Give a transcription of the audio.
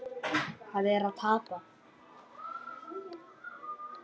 Það var að tapa.